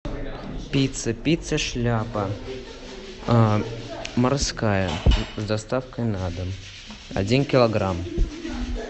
пицца пицца шляпа морская с доставкой на дом один килограмм